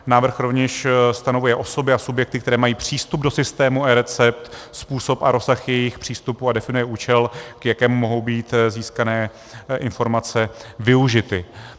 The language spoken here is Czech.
Návrh rovněž stanovuje osoby a subjekty, které mají přístup do systému eRecept, způsob a rozsah jejich přístupu a definuje účel, k jakému mohou být získané informace využity.